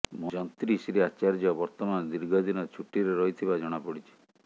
ଯନ୍ତ୍ରୀ ଶ୍ରୀ ଆଚାର୍ଯ୍ୟ ବର୍ତ୍ତମାନ ଦୀର୍ଘ ଦିନ ଛୁଟିରେ ରହିଥିବା ଜଣାପଡ଼ିଛି